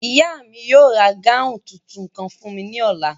Ìyá mi yóò ra gáùn tuntun kan fún mi ní ọ̀la